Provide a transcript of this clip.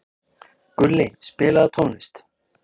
Gulli, spilaðu tónlist.